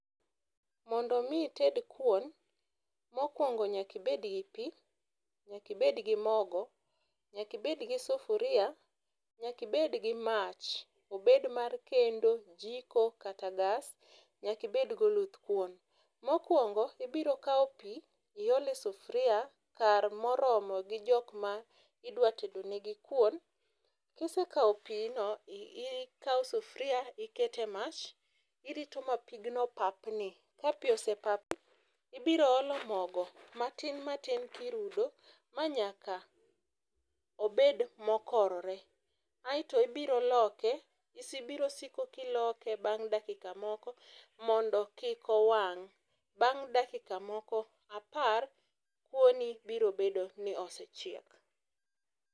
Mondo mi ited kuon, mokwongo nyaki bed gi pii, nyaki bed gi mogo, nyaki bed gi sufuria, nyaki bed gi mach obed mar kendo jiko kata gas, nyaki bed gi oluth kuon. Mokwongo ibiro kawo pii iol e sufria kar moromo gi jokma idwa tedo ni gi kuon kisekawo pino ikawo sufria ikete mach irito ma pigno papni. Ka pii osepapni ibiro olo mogo matin matin kirudo manyaka obed mokorore aeto ibiro loke ibiro siko kiloke mondo kik owang' bang' dakika moko apar kuoni biro bedo ni osechiek.